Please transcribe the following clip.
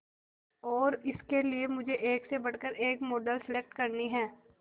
और इसके लिए मुझे एक से बढ़कर एक मॉडल सेलेक्ट करनी है